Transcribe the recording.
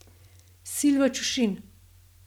Silva Čušin.